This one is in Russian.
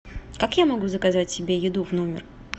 как я могу заказать себе еду в номер